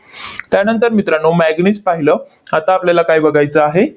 त्यानंतर मित्रांनो, manganese पाहिलं. आता आपल्याला काय बघायचं आहे?